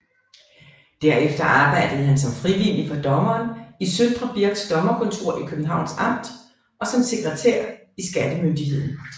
Derefter arbejdede han som frivillig for dommeren for Søndre Birks dommerkontor i Københavns Amt og som sekretær i skattemyndigheden